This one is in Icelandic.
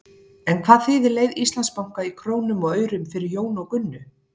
En hvað þýðir leið Íslandsbanka í krónum og aurum fyrir Jón og Gunnu?